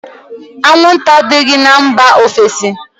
Anwụnta adịghị na mba ofesi